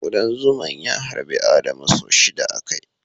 Kudan zuman ya harbi Adamu sau shida a kai.